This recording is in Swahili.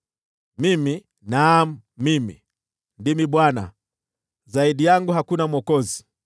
Mimi, naam mimi, ndimi Bwana , zaidi yangu hakuna mwokozi.